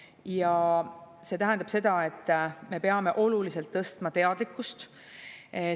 Ja see tähendab seda, et me peame oluliselt tõstma teadlikkust.